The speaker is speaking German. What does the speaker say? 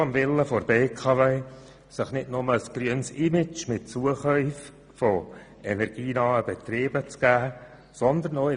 Die BKW soll sich nicht nur mit Zukäufen energienaher Betriebe ein grünes Image geben.